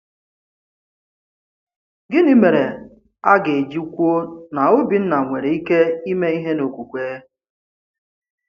Gịnị mèrè a ga-eji kwuo na Òbìnna nwèrè ike ime ìhè n’okwukwe?